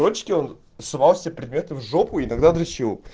дочке он совал все предметы в жопу и тогда драчил